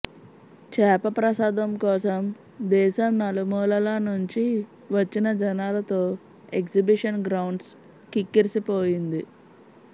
చేప ప్రసాదం కోసం దేశం నలుమూలల నుంచి వచ్చిన జనాలతో ఎగ్జిబిషన్ గ్రౌండ్స్ కిక్కిరిసిపోయింది